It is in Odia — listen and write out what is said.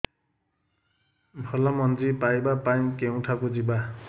ଭଲ ମଞ୍ଜି ପାଇବା ପାଇଁ କେଉଁଠାକୁ ଯିବା